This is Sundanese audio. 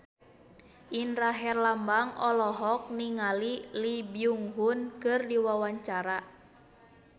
Indra Herlambang olohok ningali Lee Byung Hun keur diwawancara